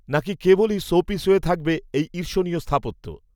না কি কেবলই, শোপিস হয়ে থাকবে, এই, ঈর্ষণীয় স্থাপত্য